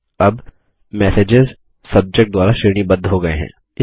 अब messages subject द्वारा श्रेणीबद्ध हो गये हैं